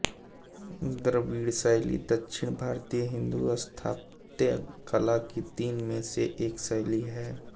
द्रविड़ शैली दक्षिण भारतीय हिन्दू स्थापत्य कला की तीन में से एक शैली है